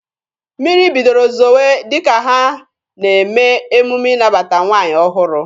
Mmiri bidoro zowe dịka ha na-eme emume ịnabata nwaanyị ọhụrụ.